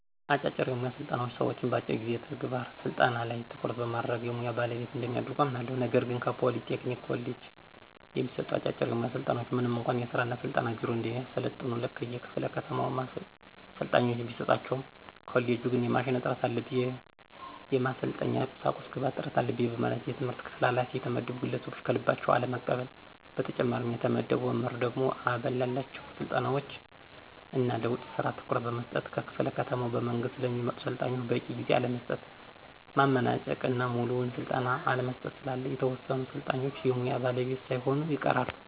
አጫጭር የሙያ ስልጠናዎች ሰዎችን በአጭር ጊዜ የተግባር ስልጠና ላይ ትኩረት በማድረግ የሙያ ባለቤት እንደሚያደርጉ አምናለሁ። ነገር ግን ከፖሊ ቴክኒክ ኮሌጅ የሚሰጡ አጫጭር የሙያ ስልጠናዎች ምንም እንኳ የሥራ እና ስልጠና ቢሮ እንዲያሰለጥኑ ከየክፋለ ከተማው ሰልጣኞችን ቢሰጣቸውም ኮሌጁ ግን የማሽን እጥረት አለብኝ፣ የማሰልጠኛ ቁሳቁስ ግብአት እጥረት አለበኝ በማለት የትምህርት ክፍል ኋላፊ የተመደቡ ግለሰቦች ከልባቸው አለመቀበል። በተጨማሪም የተመደበው መምህር ደግሞ አበል ላላቸው ስልጠናዎች እና ለውጭ ስራ ትኩረት በመስጠት ከክፍለ ከተማ በመንግስት ለሚመጡ ሰልጣኞች በቂ ጊዜ አለመስጠት፣ ማመናጨቅ እና ሙሉውን ስልጠና አለመስጠት ስላለ የተወሰኑ ሰልጣኞች የሙያ ባለቤት ሳይሆኑ ይቀራሉ።